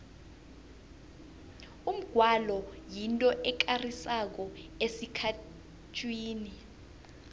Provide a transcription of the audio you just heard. umgwalo yinto ekarisako esikhethwini